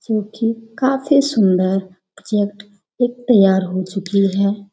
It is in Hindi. जो कि काफी सुंदर प्रोजेक्ट एक तैयार हो चुकी है।